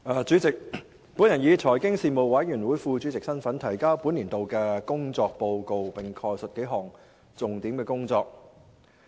主席，我以財經事務委員會副主席的身份，提交本年度的工作報告，並概述數項重點工作。